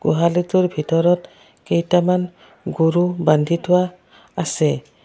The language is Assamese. গোহালিটোৰ ভিতৰত কেইটামান গৰু বান্ধি থোৱা আছে।